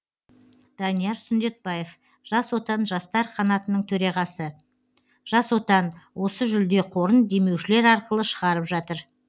данияр сүндетбаев жас отан жастар қанатының төрағасы жас отан осы жүлде қорын демеушілер арқылы шығарып жатыр